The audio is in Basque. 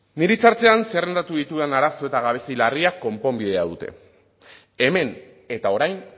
nire hitza hartzean zerrendatu ditudan arazo eta gabezia larriak konponbidea dute hemen eta orain